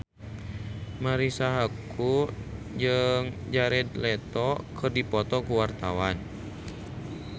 Marisa Haque jeung Jared Leto keur dipoto ku wartawan